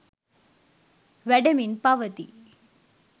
වැඩෙමින් පවතී.